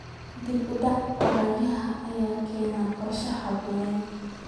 Dib u dhaca lacagaha ayaa keenaya qorshe aan habboonayn.